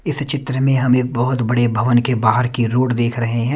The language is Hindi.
इस चित्र में हम एक बहुत बड़े भवन के बाहर की रोड देख रहे हैं।